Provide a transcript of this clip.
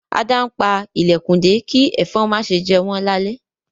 Ada npá ilẹkùn dé ki ẹ̀fọ̀n ma ṣe jé wọn lale